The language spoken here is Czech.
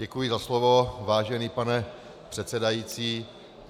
Děkuji za slovo, vážený pane předsedající.